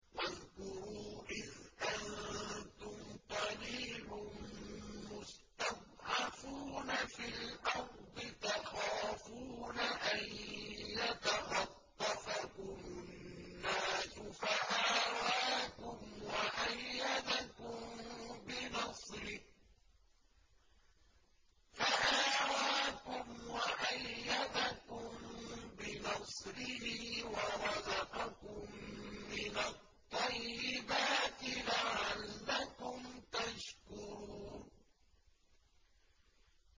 وَاذْكُرُوا إِذْ أَنتُمْ قَلِيلٌ مُّسْتَضْعَفُونَ فِي الْأَرْضِ تَخَافُونَ أَن يَتَخَطَّفَكُمُ النَّاسُ فَآوَاكُمْ وَأَيَّدَكُم بِنَصْرِهِ وَرَزَقَكُم مِّنَ الطَّيِّبَاتِ لَعَلَّكُمْ تَشْكُرُونَ